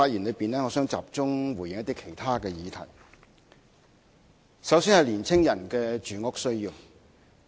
我現時想集中回應一些其他議題，首先是青年人的住屋需要。